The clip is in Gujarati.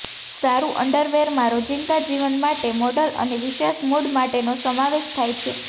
સારૂ અન્ડરવેરમાં રોજિંદા જીવન માટેના મોડલ અને વિશેષ મૂડ માટેનો સમાવેશ થાય છે